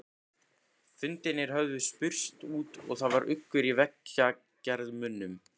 Fundirnir höfðu spurst út og það var uggur í vegagerðarmönnum.